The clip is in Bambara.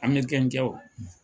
Amerikɛnkɛ o.